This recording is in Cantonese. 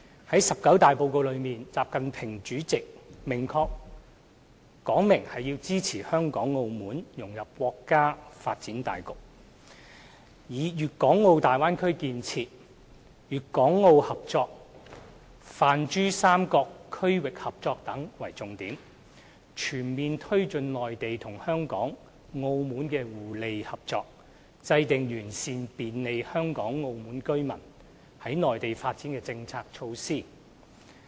在"十九大報告"中，習近平主席明確要支持香港、澳門融入國家發展大局，以粵港澳大灣區建設、粵港澳合作、泛珠三角區域合作等為重點，全面推進內地與香港、澳門互利合作，制訂完善便利香港、澳門居民在內地發展的政策措施。